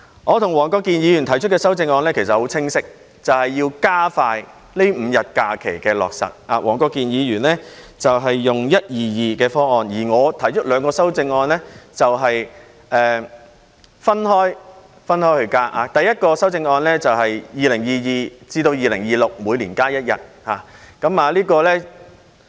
我及黃國健議員提出的修正案十分清晰，便是要加快落實增加5天假期，黃國健議員採取 "1-2-2" 方案，而我提出的兩項修正案是分開增加假期，第一項修正案是2022年至2026年每年增加一天。